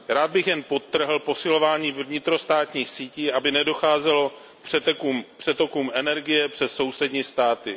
Rád bych jen podtrhl posilování vnitrostátních sítí, aby nedocházelo k přetokům energie přes sousední státy.